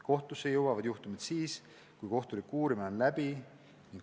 Kohtusse jõuavad juhtumid siis, kui kohtulik uurimine on läbi.